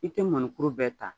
I tɛ mɔnikuru bɛɛ ta